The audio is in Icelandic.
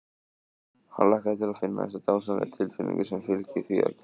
Hann hlakkaði til að finna þessa dásamlegu tilfinnigu sem fylgir því að gefa öðrum.